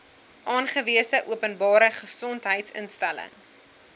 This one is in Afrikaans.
aangewese openbare gesondheidsinstelling